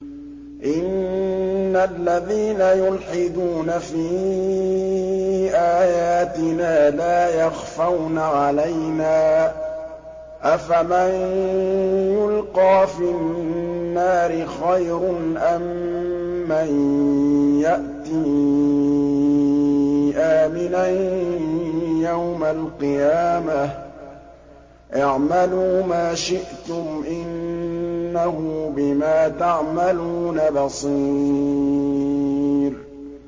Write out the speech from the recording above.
إِنَّ الَّذِينَ يُلْحِدُونَ فِي آيَاتِنَا لَا يَخْفَوْنَ عَلَيْنَا ۗ أَفَمَن يُلْقَىٰ فِي النَّارِ خَيْرٌ أَم مَّن يَأْتِي آمِنًا يَوْمَ الْقِيَامَةِ ۚ اعْمَلُوا مَا شِئْتُمْ ۖ إِنَّهُ بِمَا تَعْمَلُونَ بَصِيرٌ